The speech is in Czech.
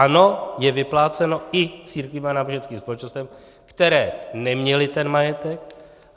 Ano, je vypláceno i církvím a náboženským společnostem, které neměly ten majetek.